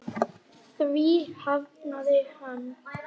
Því hafnaði hann.